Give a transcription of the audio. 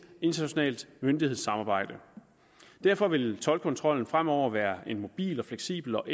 internationalt myndighedssamarbejde derfor vil toldkontrollen fremover være en mobil fleksibel og